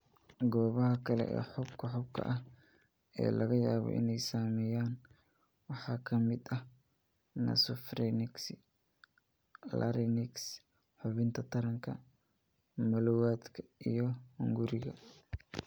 Goobaha kale ee xuubka xuubka ah ee laga yaabo inay saameeyaan waxaa ka mid ah nasopharnyx, larynx, xubinta taranka, malawadka, iyo hunguriga.